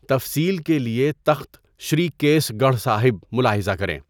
تفصیل کے لیے تخت شری کیسھ گڑھ صاحب ملاحظہ کریں۔